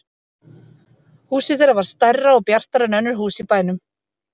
Húsið þeirra var stærra og bjartara en önnur hús í bænum.